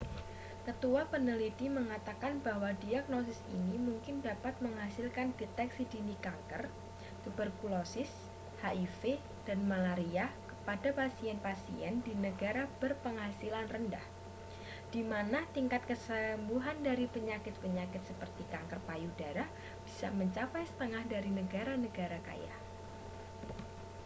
ketua peneliti mengatakan bahwa diagnosis ini mungkin dapat menghasilkan deteksi dini kanker tuberkulosis hiv dan malaria kepada pasien-pasien di negara berpenghasilan rendah di mana tingkat kesembuhan dari penyakit-penyakit seperti kanker payudara bisa mencapai setengah dari negara-negara kaya